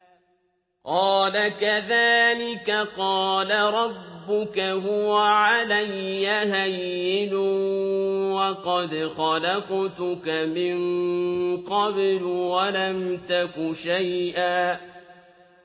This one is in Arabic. قَالَ كَذَٰلِكَ قَالَ رَبُّكَ هُوَ عَلَيَّ هَيِّنٌ وَقَدْ خَلَقْتُكَ مِن قَبْلُ وَلَمْ تَكُ شَيْئًا